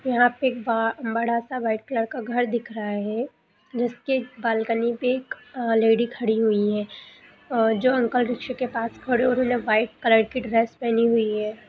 यहाँ पे एक बा बड़ा सा व्हाइट कलर का घर दिख रहा है | जिसके बाल्कनी पे एक लेडी खड़ी हुई है | अ जो अंकल रिक्शा के पास खड़े हो उन्होंने व्हाइट कलर की ड्रेस पहनी हुई है ।